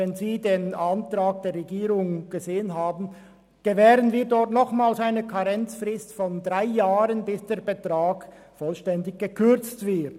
Wenn Sie den Antrag der Regierung lesen, sehen Sie, dass wir nochmals eine Karenzfrist von drei Jahren gewähren, bis der Betrag vollständig gekürzt wird.